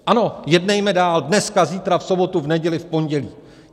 Ano, jednejme dál, dneska, zítra, v sobotu, v neděli, v pondělí.